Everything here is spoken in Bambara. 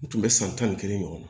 U tun bɛ san tan ni kelen ɲɔgɔn na